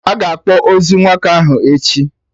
Aga akpọ ozu nwoke ahụ echi